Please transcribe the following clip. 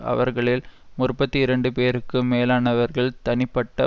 அவர்களில் முற்பத்தி இரண்டு பேருக்கும் மேலானவர்கள் தனிப்பட்ட